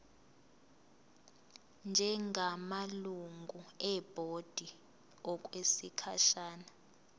njengamalungu ebhodi okwesikhashana